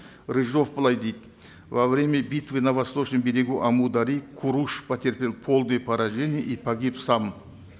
рыжов былай дейді во время битвы на восточном берегу амударьи куруш потерпел полное поражение и погиб сам